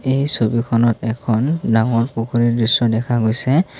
এই ছবিখনত এখন ডাঙৰ পুখুৰীৰ দৃশ্য দেখা গৈছে।